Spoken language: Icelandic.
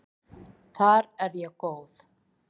Þar er ég góð.